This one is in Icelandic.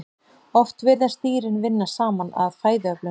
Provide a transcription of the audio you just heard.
Oft virðast dýrin vinna saman að fæðuöflun.